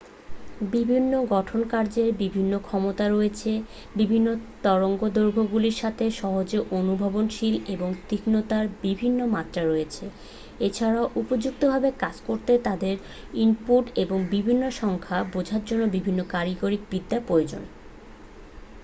বিভিন্ন গঠনকার্যের বিভিন্ন ক্ষমতা রয়েছে বিভিন্ন তরঙ্গদৈর্ঘ্যগুলির সাথে সহজে অনুভবনশীল এবং তীক্ষ্ণতার বিভিন্ন মাত্রা রয়েছে এছাড়াও উপযুক্তভাবে কাজ করতে তাদের ইনপুট এবং বিভিন্ন সংখ্যা বোঝার জন্য বিভিন্ন কারিগরিবিদ্যা প্রয়োজন